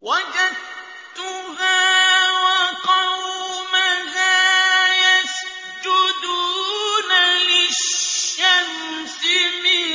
وَجَدتُّهَا وَقَوْمَهَا يَسْجُدُونَ لِلشَّمْسِ مِن